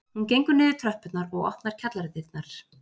Hún gengur niður tröppurnar og opnar kjallaradyrnar